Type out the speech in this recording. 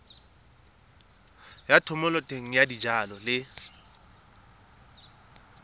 ya thomeloteng ya dijalo le